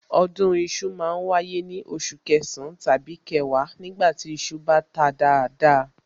Ọdún iṣu ma ń wáyé ní oṣù kẹsàn-án tàbí kẹwàá nígbà tí iṣu bá ta dáadáa